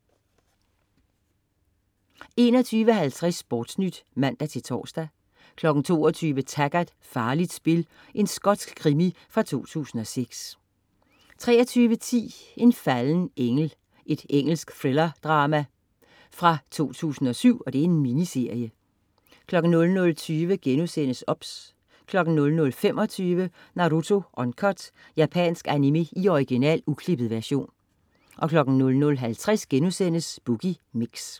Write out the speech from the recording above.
21.50 SportNyt (man-tors) 22.00 Taggart: Farligt spil. Skotsk krimi fra 2006 23.10 En falden engel. Engelsk thrillerdrama-miniserie fra 2007 00.20 OBS* 00.25 Naruto Uncut. Japansk animé i original, uklippet version 00.50 Boogie Mix*